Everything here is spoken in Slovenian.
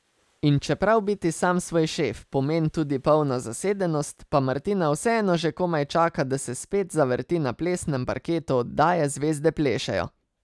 In čeprav biti sam svoj šef pomen tudi polno zasedenost, pa Martina vseeno že komaj čaka, da se spet zavrti na plesnem parketu oddaje Zvezde plešejo.